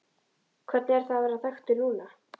Hvernig er það að vera þekktur núna?